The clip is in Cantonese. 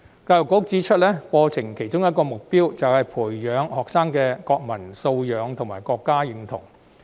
教育局指出，課程的其中一個目標，是培養學生的國民素養及國民身份認同。